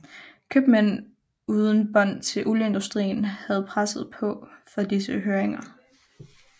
Købmænd uden bånd til olieindustrien havde presset på for disse høringer